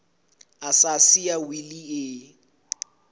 a sa siya wili e